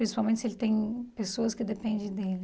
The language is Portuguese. Principalmente se ele tem pessoas que dependem dele.